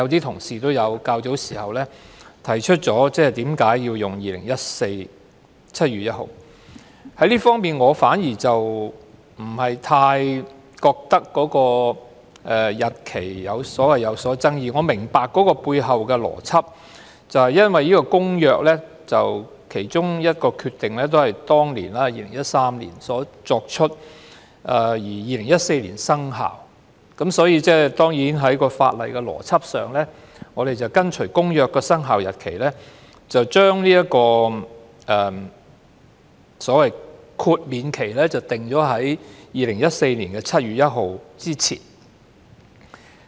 同事較早時提出為何要用2014年7月1日作界線，而我反而不太認為要就日期有所爭議，我明白背後的邏輯，因為《公約》的其中一項決議是在2013年作出，並在2014年生效的，所以在法理邏輯上，我們便跟隨《公約》的生效日期，將這個豁免期訂於2014年7月1日之前。